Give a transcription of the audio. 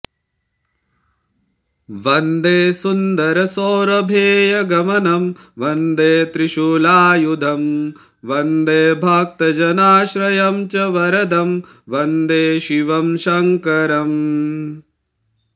वन्दे सुन्दरसौरभेयगमनं वन्दे त्रिशूलायुधं वन्दे भक्तजनाश्रयं च वरदं वन्दे शिवं शङ्करम्